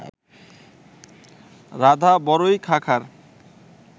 রাধা বড়য়ি খাঁখার